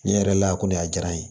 Ne yɛrɛ la ko ne a diyara n ye